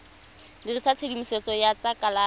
dirisa tshedimosetso ya tsa kalafi